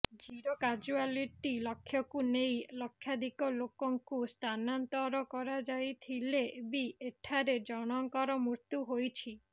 zero casualty ଲକ୍ଷ୍ୟକୁ ନେଇ ଲକ୍ଷାଧିକ ଲୋକଙ୍କୁ ସ୍ଥାନାନ୍ତର କରାଯାଇଥିଲେ ବି ଏଠାରେ ଜଣଙ୍କର ମୃତ୍ୟୁ ହୋଇଛି